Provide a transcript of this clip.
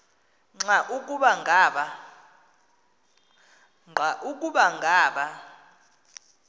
nqa ukuba ngaba